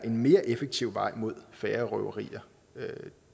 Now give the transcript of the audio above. mere effektiv vej mod færre røverier